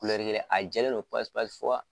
wɛrɛ a jɛlen don pasipasi fɔ a